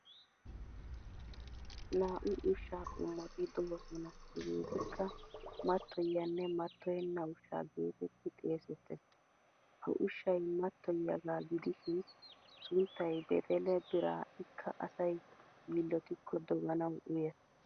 Naa'u ushshaa qommoti doosona hegeetikka mattoyiyanne mattoyenna ushshaa geetetti xeesettes. Ha ushshay mattoyiyagaa gidishin sunttay bedele biiraa ikka asay yiillotikko doganawu uyees.